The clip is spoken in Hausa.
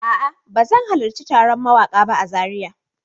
A'a, ba zan halarci taron mawaƙa ba a Zariya.